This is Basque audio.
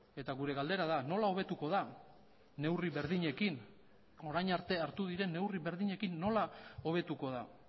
eta gure galdera da nola hobetuko da neurri berdinekin orain arte hartu diren neurri berdinekin nola hobetuko da